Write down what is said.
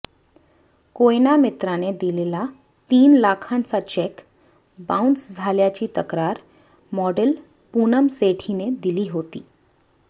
कोयना मित्राने दिलेला तीन लाखांचा चेक बाऊन्स झाल्याची तक्रार मॉडेल पूनम सेठीने दिली होती